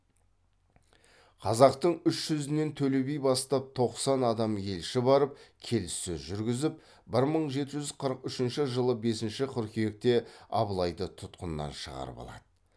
қазақтың үш жүзінен төле би бастап тоқсан адам елші барып келіссөз жүргізіп бір мың жеті жүз қырық үшінші жылы бесінші қыркүйекте абылайды тұтқыннан шығарып алады